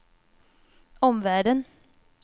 omvärlden